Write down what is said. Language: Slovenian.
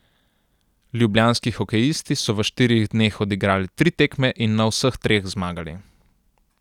Ljubljanski hokejisti so v štirih dneh odigrali tri tekme in na vseh treh zmagali.